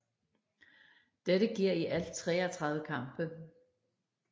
Dette giver i alt 33 kampe